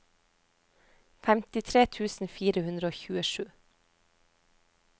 femtitre tusen fire hundre og tjuesju